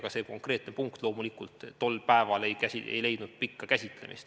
Ka see konkreetne punkt tol päeval ei leidnud loomulikult pikka käsitlemist.